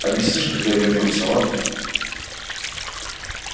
объяснишь когда вернёмся ладно